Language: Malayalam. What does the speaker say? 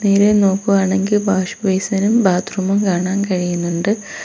നേരെ നോക്കുവാണെങ്കി വാഷ് ബേസിനും ബാത്റൂമും കാണാൻ കഴിയുന്നിണ്ട്.